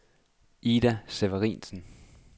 Ida Severinsen